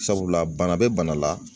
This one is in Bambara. Sabula bana bɛ bana la